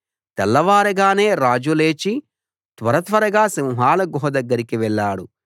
తెల్లవారగానే రాజు లేచి త్వర త్వరగా సింహాల గుహ దగ్గరికి వెళ్ళాడు